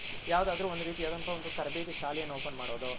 ಯಾವ್ದಾದ್ರು ರೀತಿ ಆದಂತಹ ಒಂದು ತರಬೇತಿ ಶಾಲೆಯನ Open ಮಾಡೋದ್.